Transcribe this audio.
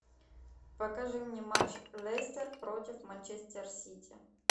покажи мне матч лестер против манчестер сити